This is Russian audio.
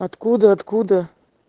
откуда откуда